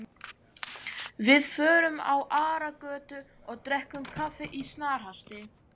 Við förum á Aragötu og drekkum kaffi í snarhasti.